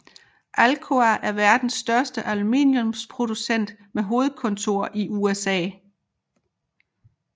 Alcoa er verdens næststørste aluminiumsproducent med hovedkontor i USA